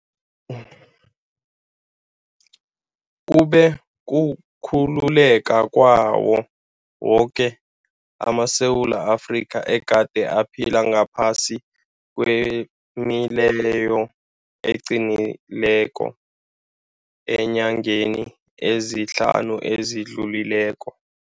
Lokhu kube kukhululeka kwawo woke amaSewula Afrika egade aphila ngaphasi kwemileyo eqinileko eenyangeni ezihlanu ezi dlulileko.